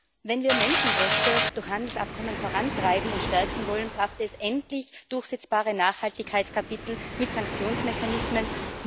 Herr Präsident! Wenn wir Menschenrechte durch Handelsabkommen vorantreiben und stärken wollen, braucht es endlich durchsetzbare Nachhaltigkeitskapitel mit Sanktionsmechanismen.